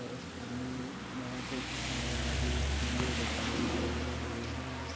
उस पन्नी में कुछ बड़े- बड़े झींगे दिखाई दे रहे है।